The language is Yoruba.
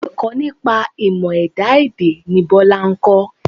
Ẹ̀kọ́ nípa ìmọ̀ ẹ̀dá èdè ni Biola ń kọ́.